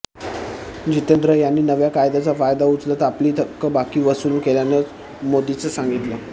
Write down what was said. जितेंद्र यांनी नव्या कायद्याचा फायदा उचलत आपली थकबाकी वसूल केल्याचं मोदींनी सांगितलं